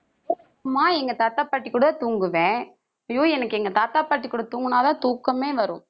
ஆமா எங்க தாத்தா, பாட்டி கூடதான் தூங்குவேன். ஐயோ எனக்கு எங்க தாத்தா, பாட்டி கூட தூங்குனாதான் தூக்கமே வரும்